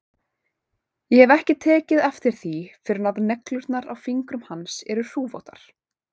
Ég hef ekki tekið eftir því fyrr að neglurnar á fingrum hans eru hrufóttar.